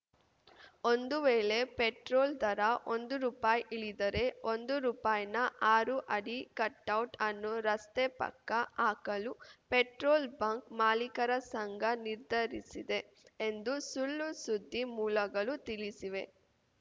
ಒಂದು ವೇಳೆ ಪೆಟ್ರೋಲ್‌ ದರ ಒಂದು ರುಪಾಯಿ ಇಳಿದರೆ ಒಂದು ರುಪಾಯಿನ ಆರು ಅಡಿ ಕಟೌಟ್‌ ಅನ್ನು ರಸ್ತೆ ಪಕ್ಕ ಹಾಕಲು ಪೆಟ್ರೋಲ್‌ ಬಂಕ್‌ ಮಾಲೀಕರ ಸಂಘ ನಿರ್ಧರಿಸಿದೆ ಎಂದು ಸುಳ್ಳುಸುದ್ದಿ ಮೂಲಗಳು ತಿಳಿಸಿವೆ